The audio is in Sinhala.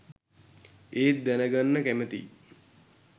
ඒත් දැනගන්න කැමතියි